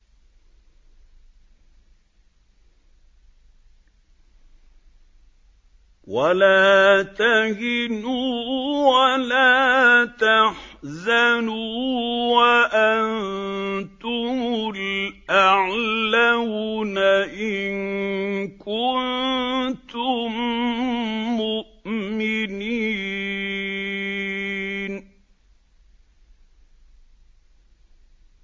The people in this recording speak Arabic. وَلَا تَهِنُوا وَلَا تَحْزَنُوا وَأَنتُمُ الْأَعْلَوْنَ إِن كُنتُم مُّؤْمِنِينَ